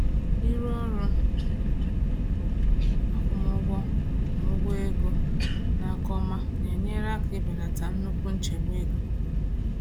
Ịrụ ọrụ akwụmụgwọ na ụgwọ ego n’aka ọma na-enyere aka ibelata nnukwu nchegbu ego.